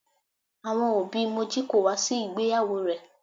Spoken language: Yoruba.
Àwọn òbí Moji kò wá sí ìgbéyàwó rẹ̀.